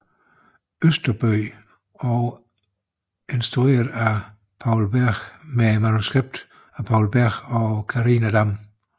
Østerbøg og instrueret af Poul Berg med manuskript af Poul Berg og Karina Dam